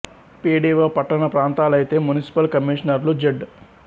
P D O పట్టణ ప్రాంతాలైతే municipal commissioner లు జడ్